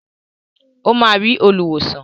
Ó máa rí olùwòsàn.